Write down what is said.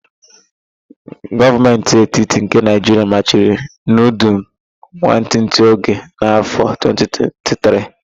Gọọmentị etiti nke Naịjiria machiri nudul nwantịtị oge n'afọ 2023